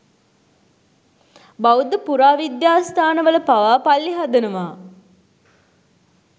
බෞද්ධ පුරාවිද්‍යා ස්ථානවල පවා පල්ලි හදනවා.